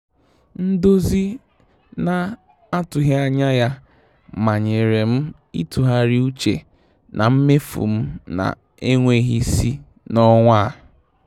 Ndozi na-atụghị anya ya manyere m ịtụgharị uche na mmefu m na-enweghị isi n'ọnwa a.